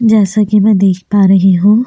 जैसा कि मैं देख पा रही हूं।